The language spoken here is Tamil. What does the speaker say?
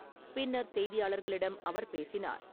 பின்னர் செய்தியாளர்களிடம் அவர் பேசினார்.